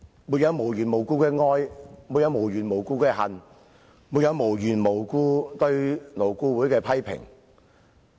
沒有無緣無故的愛，沒有無緣無故的恨，沒有無緣無故對勞工顧問委員會的批評。